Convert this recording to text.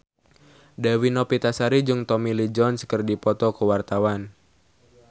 Dewi Novitasari jeung Tommy Lee Jones keur dipoto ku wartawan